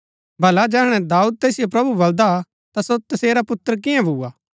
भला जैहणै दाऊद तैसिओ प्रभु बलदा हा ता सो तसेरा पुत्र किआं भुआ